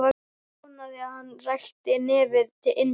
Vonaði að hann ræki nefið inn til mín.